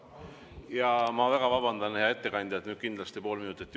Eesti on oma kaitsevõime tõstmisel suhtarvuna SKT‑sse olnud üheks veduriks NATO‑s ja Euroopa Liidus.